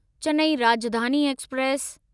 Chennai Rajdhani express